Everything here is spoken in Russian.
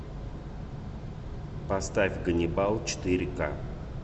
поставь ганнибал четыре ка